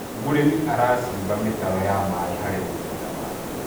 mũrĩmi aracimba mitaro ya maĩ harĩ mũgũnda wake